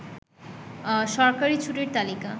সরকারি ছুটির তালিকা